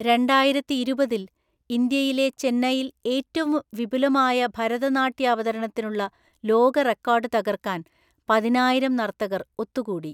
രണ്ടായിരത്തിഇരുപതില്‍, ഇന്ത്യയിലെ ചെന്നൈയിൽ ഏറ്റവും വിപുലമായ ഭരതനാട്യാവതരണത്തിനുള്ള ലോക റെക്കോർഡ് തകർക്കാൻ പതിനായിരം നർത്തകർ ഒത്തുകൂടി.